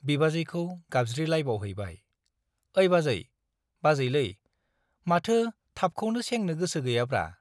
बिबाजैखौ गावज्रिलाबायहैबाय , ऐ बाजै, बाजैलै-माथो थाबखौनो सेंनो गोसो गैयाब्रा।